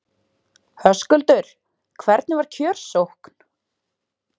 Höskuldur, hvernig var kjörsókn?